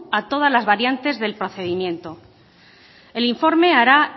a todas las variantes del procedimiento el informe hará